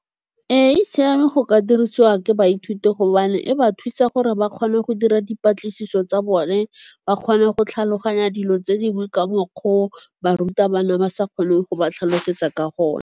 Ee, e siame go ka dirisiwa ke baithuti gobane e ba thusa gore ba kgone go dira dipatlisiso tsa bone, ba kgone go tlhaloganya dilo tse dingwe ka mokgo barutabana ba sa kgone go ba tlhalosetsa ka gone.